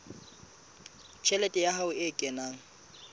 tjhelete ya hae e kenang